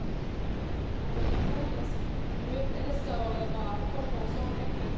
Arvoisa puhemies, edessä oleva kokous on erittäin tärkeä.